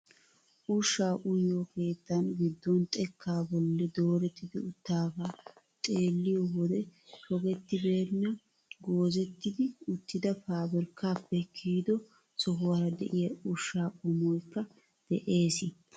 Ushshaa uyiyoo keettaan giddon xekkaa bolli dooretti uttidagaa xeelliyoo wode pogettibenna goozetti uttida pabirkkaappe kiyido sohuwaara de'iyaa ushshaa qommoyikka de'ees.